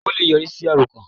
Ó le è yọrí sí àròkàn